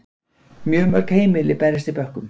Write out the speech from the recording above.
Mjög mörg heimili berjast í bökkum